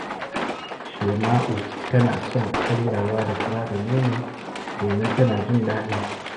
Shema’u tana son karyawa da fura da nono, domin tana jin daɗinsu